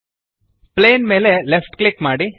plane ಮೇಲೆ left click ಮಾಡಿ